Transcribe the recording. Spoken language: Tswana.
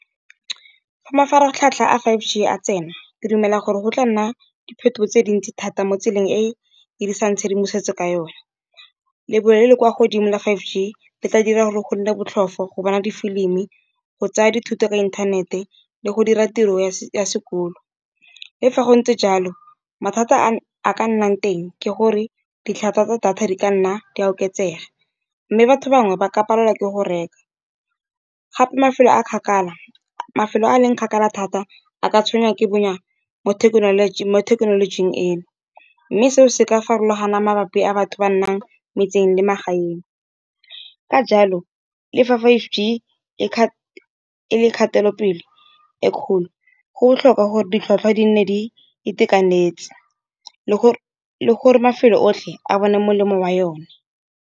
Fa mafaratlhatlha a five G a tsena ke dumela gore go tla nna diphetogo tse dintsi thata mo tseleng, e e dirisang tshedimosetso ka yona. Lebelo le le kwa godimo la five G le tla dira gore go nne botlhofo go bona di-film, go tsaya dithuto tsa inthanete, le go dira tiro ya sekolo. Le fa go ntse jalo mathata a a ka nnang teng ke gore ditlhwatlhwa tsa data di ka nna di a oketsega. Mme batho bangwe ba ka palelwa ke go reka, mafelo a leng kgakala thata a ka tshwenya ke bonya mo thekenolojing e no. Mme seo se ka farologana mabapi a batho ba nnang metseng le magaeng ka jalo, le fa five Ge le kgatelopele e kgolo, go tlhoka gore ditlhwatlhwa di nne di itekanetse le gore mafelo otlhe a bone molemo wa yone.